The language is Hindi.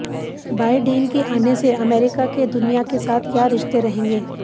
बाइडेन के आने से अमेरिका के दुनिया के साथ क्या रिश्ते रहेंगे